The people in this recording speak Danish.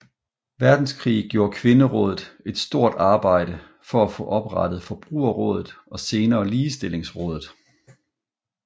Verdenskrig gjorde Kvinderådet et stort arbejde for at få oprettet Forbrugerrådet og senere Ligestillingsrådet